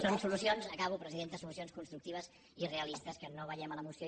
són solucions acabo presidenta solucions constructives i realistes que no veiem a la moció